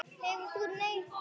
Hefðir þú neitað?